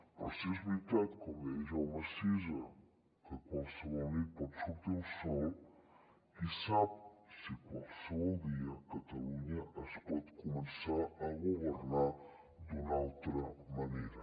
però si és veritat com deia jaume sisa que qualsevol nit pot sortir el sol qui sap si qualsevol dia catalunya es pot començar a governar d’una altra manera